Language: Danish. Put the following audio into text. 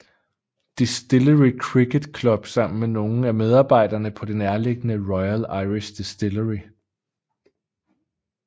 Distillery Cricket Club sammen med nogle af medarbejderne på det nærliggende Royal Irish Distillery